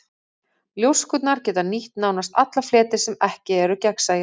Ljóskurnar geta nýtt nánast alla fleti sem ekki eru gegnsæir.